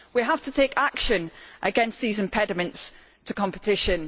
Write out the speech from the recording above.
We have to take action against these impediments to competition.